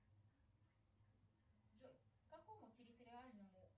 джой к какому территориальному